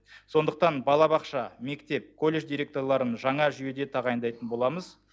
сондықтан балабақша мектеп колледж директорларын жаңа жүйеде тағайындайтын боламыз